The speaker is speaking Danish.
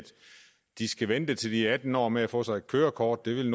de skal vente til de er atten år med at få sig et kørekort det vil